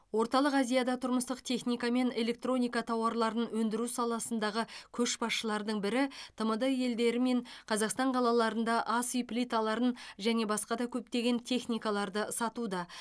орталық азияда тұрмыстық техника мен электроника тауарларын өндіру саласындағы көшбасшылардың бірі тмд елдері мен қазақстан қалаларында ас үй плиталарын және басқа да көптеген техникаларды сатуда